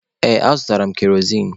Ee, azụtara m kerozin.